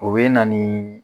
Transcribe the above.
O ye na ni